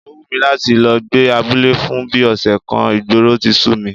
Ó wù mí láti lọ gbé abúlé fún bí ọ̀sẹ̀ kan, ìgboro ti sú mi